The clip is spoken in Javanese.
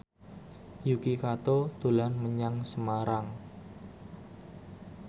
Yuki Kato dolan menyang Semarang